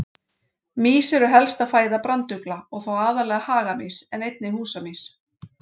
Mýs eru helsta fæða brandugla og þá aðallega hagamýs en einnig húsamýs.